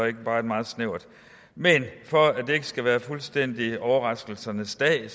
ikke bare er meget snævert men for at det ikke skal være fuldstændig overraskelsernes dag